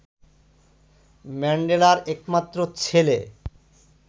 ম্যান্ডেলার একমাত্র ছেলে